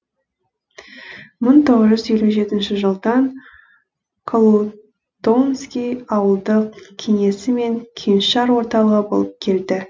мың тоғыз жүз елу жетінші жылдан колутонский ауылдық кеңесі мен кеңшар орталығы болып келді